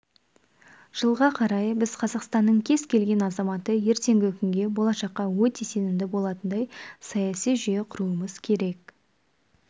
жылға қарай біз қазақстанның кез келген азаматы ертеңгі күнге болашаққа өте сенімді болатындай саяси жүйе құруымыз керек